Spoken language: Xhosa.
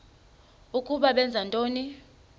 ukuba benza ntoni